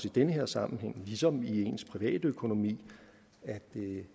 i den her sammenhæng ligesom det gælder ens privatøkonomi at det